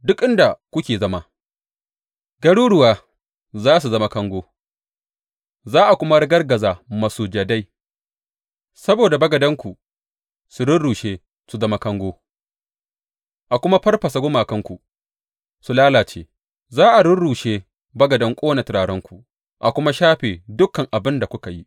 Duk inda kuke zama, garuruwa za su zama kango, za a kuma ragargaza masujadai, saboda bagadanku su rurrushe su zama kango, a kuma farfasa gumakanku su lalace, za a rurrushe bagadan ƙone turarenku, a kuma shafe dukan abin da kuka yi.